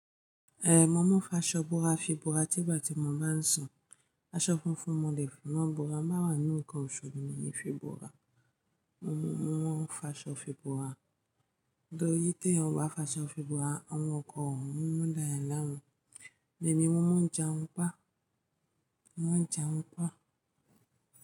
Mo mọ fáṣọ bóra fi bóra tígbà tí mo bá ń sùn. Aṣọ funfun mo lè fi mọ bóra, ń bá wà nínú ǹkan òṣú mi, mi è fi ń bóra. Mo mọ fáṣọ fi búra. Tori tí èeyan bá fáṣọ fi bora, àwọn ọkọ òun mọ́ láyà ńlá wọn. Èmi mo mọ̀ọ́ jarun pa. Mo moo n jarun pa.